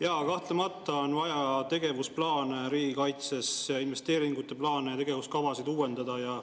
Jaa, kahtlemata on vaja riigikaitse tegevusplaane, investeeringute plaane ja tegevuskavasid uuendada.